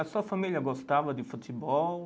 A sua família gostava de futebol?